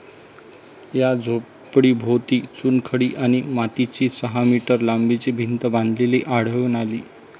या झोपडीभोवती चुनखडी आणि मातीची सहा मीटर लांबीची भिंत बांधलेली आढळून आली.